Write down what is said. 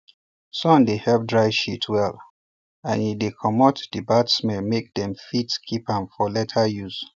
sun dey help dry shit well and e dey commot the bad smell make dem fit keep am for later use